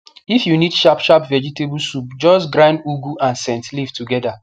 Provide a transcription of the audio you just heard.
if you need sharp sharp vegetable soup just grind ugu and scent leave together